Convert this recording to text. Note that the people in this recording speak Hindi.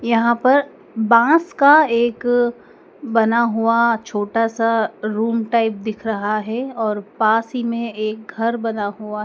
यहां पर बांस का एक बना हुआ छोटा सा रूम टाइप दिख रहा है और पास ही में एक घर बना हुआ--